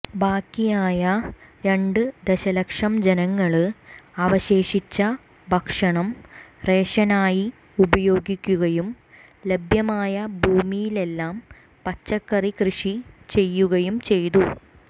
ബാക്കിയായ രണ്ട് ദശലക്ഷം ജനങ്ങള് അവശേഷിച്ച ഭക്ഷണം റേഷനായി ഉപയോഗിക്കുകയും ലഭ്യമായ ഭൂമിയിലെല്ലാം പച്ചക്കറി കൃഷി ചെയ്യുകയും ചെയ്തു